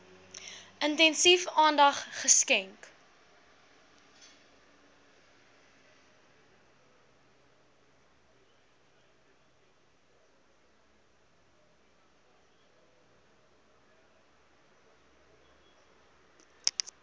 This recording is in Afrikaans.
intensief aandag geskenk